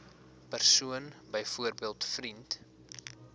persoon byvoorbeeld vriend